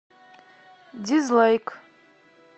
дизлайк